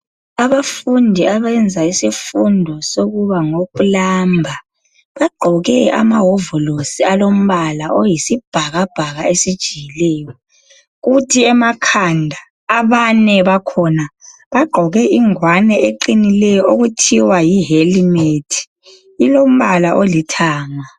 Abafundi abayenza isifundo sokuba ngo plumber, bagqoke amawovolosi alombala oyisibhakabhaka esijiyileyo, kuthi emakhanda abane bakhona bagqoke ingwane eqinileyo okuthiwa yi helmet, ilombala olithanga